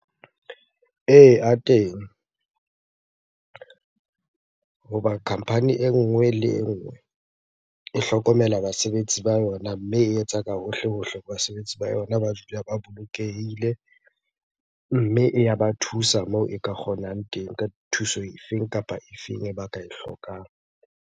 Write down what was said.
Ee, a teng. Hoba company e nngwe le e nngwe e hlokomela basebetsi ba yona, mme e etsa ka hohle-hohle basebetsi ba yona ba dule ba bolokehile. Mme, e ya ba thusa moo e ka kgonang teng ka thuso e feng kapa e feng e ba ka e hlokang.